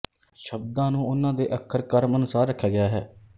ਸ਼ਬਦਾਂ ਨੂੰ ਉਹਨਾਂ ਦੇ ਅੱਖਰ ਕ੍ਰਮ ਅਨੁਸਾਰ ਰਖਿਆ ਗਿਆ ਹੈ